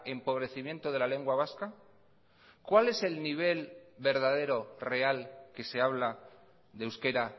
empobrecimiento de la lengua vasca cuál es el nivel verdadero real que se habla de euskera